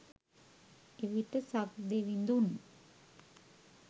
එවිට සක්දෙවිඳුන්